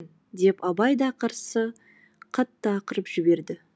өлтіртпеймін деп абай да қарсы қатты ақырып жіберді